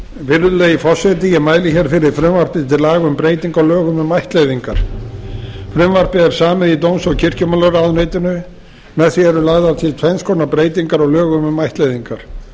virðulegi forseti ég mæli hér fyrir frumvarpi til laga um breytingu á lögum um ættleiðingar frumvarpið er samið í dóms og kirkjumálaráðuneytinu með því eru lagðar til tvenns konar breytingar á lögum um ættleiðingar